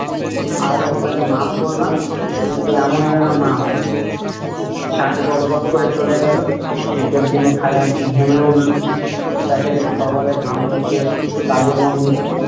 আজ আপনাকে মাফ করলাম, কিন্তু এমন যেন না হয় । সাহেব গট গট করে চলে গেলো । শীতের দিনে খাজাঞ্চি ঘেমে উঠলো । বেচারির কপালে ঘাম মুছে, কাজে মন দিলো।